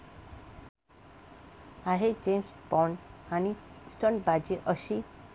आहे जेम्स बॉन्ड...आणि स्टंटबाजी अशी?